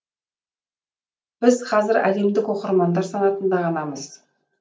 біз қазір әлемдік оқырмандар санатында ғанамыз